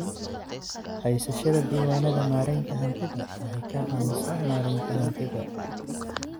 Haysashada diiwaannada maaraynta hantida waxay ka caawisaa maaraynta hantida.